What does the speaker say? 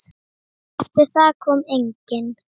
Eftir það kom enginn.